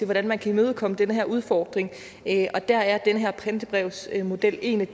hvordan man kan imødekomme den her udfordring og der er den her pantebrevsmodel en